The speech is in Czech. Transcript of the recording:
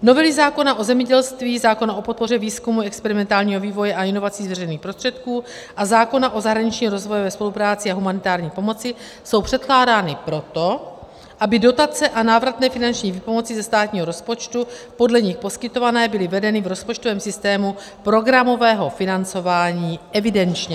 Novely zákona o zemědělství, zákona o podpoře výzkumu, experimentálního vývoje a inovací z veřejných prostředků a zákona o zahraniční rozvojové spolupráci a humanitární pomoci jsou předkládány proto, aby dotace a návratné finanční výpomoci ze státního rozpočtu podle nich poskytované byly vedeny v rozpočtovém systému programového financování evidenčně.